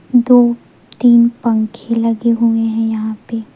दो तीन पंखे लगे हुए हैं यहां पे--